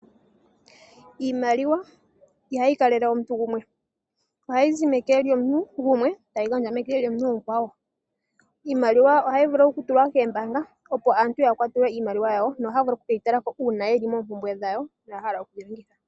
Iimaliwa ihayi kalele omuntu gumwe, ohayi zi meke lyomuntu gumwe tayi gandjwa meke lyomuntu omukwawo. Iimaliwa ohayi vulu okutulwa koombanga opo aantu ya kwatelwe iimaliwa yawo no haya vulu okuke yi tala ko uuna ye li moompumbwe dhawo.